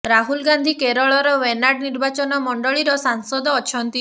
ରାହୁଲ୍ ଗାନ୍ଧି କେରଳର ୱେନାଡ଼ ନିର୍ବାଚନ ମଣ୍ଡଳୀର ସାଂସଦ ଅଛନ୍ତି